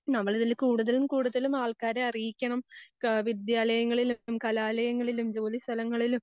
നമ്മളിതിൽ കൂടുതലും കൂടുതലും ആൾക്കാരെ അറിയിക്കണം. ആഹ് വിദ്യാലയങ്ങളിലും, കലാലയങ്ങളിലും, ജോലിസ്ഥലങ്ങളിലും